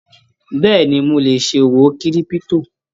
Bẹ́ẹ̀ni, mo ilè ṣòwò kírípútò.